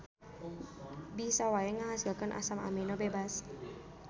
Bisa wae ngahasilkeun asam amino bebas.